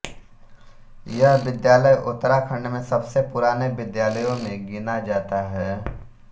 यह विद्यालय उत्तराखण्ड में सबसे पुराने विद्यालयों में गिना जाता है